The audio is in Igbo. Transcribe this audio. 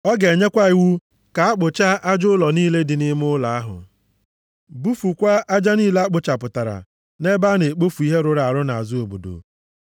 Ọ ga-enyekwa iwu ka a kpụchaa aja ụlọ niile dị nʼime ụlọ ahụ, bufukwaa aja niile a kpụchapụtara nʼebe a na-ekpofu ihe rụrụ arụ nʼazụ obodo.